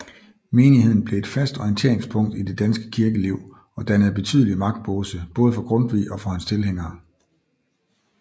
Menigheden blev et fast orienteringspunkt i det danske kirkeliv og dannede betydelig magtbase både for Grundtvig og for hans tilhængere